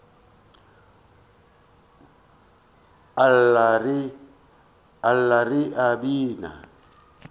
a lla re a bina